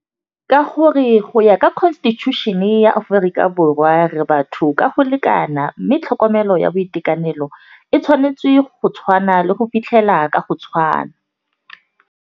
Ka gore go ya ka constitution-e ya Aforika Borwa re batho ka go lekana, mme tlhokomelo ya boitekanelo e tshwanetse go tshwana le go fitlhela ka go tshwana.